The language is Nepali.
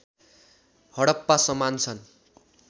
हडप्पा समान छन्